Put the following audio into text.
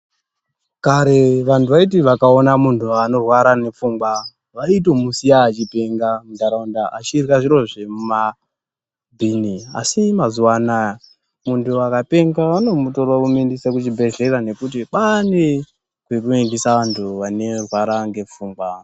Kare vantu vaiti vakaona muntuanorwara nepfungwa vaitomusiya achipenga munharaunda achidya zviro zvemabhini asi mazuvaanaya muntu akapenga vanomutora vomuendesa kuchibhehlera nekuti kwane kwekuendesa antu vanerwara nepfungwa.